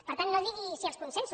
per tant no digui si els consensos